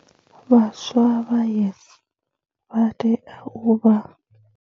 Vhaswa vha YES vha tea u vha.